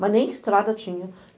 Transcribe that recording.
mas nem estrada tinha.